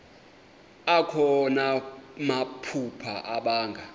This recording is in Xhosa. akho namaphupha abanga